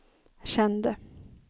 kände